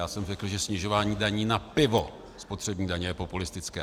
Já jsem řekl, že snižování daní na pivo spotřební daně je populistické.